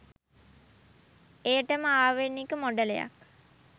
එයටම ආවේණික මොඩලයක්